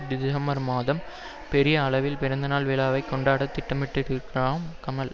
December மாதம் பெரிய அளவில் பிறந்தநாள் விழாவை கொண்டாட திட்டமிட்டிருக்கிறாராம் கமல்